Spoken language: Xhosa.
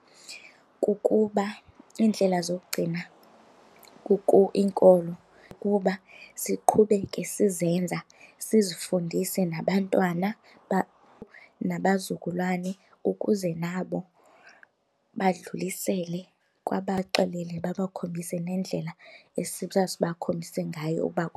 Kukuba iindlela zokugcina inkolo kukuba siqhubeke sizenza sizifundise nabantwana nabazukulwane ukuze nabo badlulisele kwabaxelele babakhombise neendlela esasibakhombise ngayo uba.